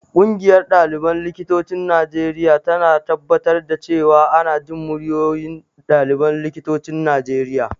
Ƙungiyar ɗaliban likitocin Najeriya tana tabbatar da cewa ana jin muryoyin ɗaliban likitocin Najeriya.